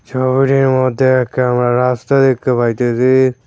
শহরের মদ্যে একখানা রাস্তা দেখতে পাইতেসি।